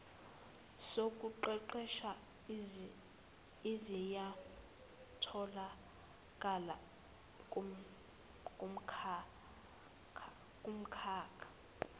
zokuqeqesha ziyatholakala kumkhakha